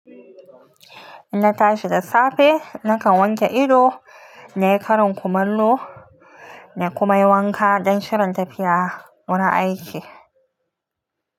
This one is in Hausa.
Inna tashi da safe, nakan wanke ido, na yi karin kumallo nayi kuma yi wanka don shirin tafiya wurin aiki.